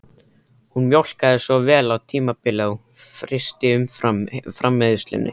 Hún mjólkaði svo vel á tímabili að hún frysti umfram-framleiðsluna